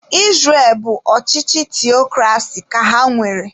Israel bụ ọchịchị theokrasi ka ha nwere.